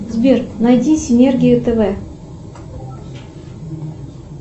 сбер найди синергию тв